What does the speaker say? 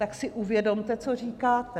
Tak si uvědomte, co říkáte!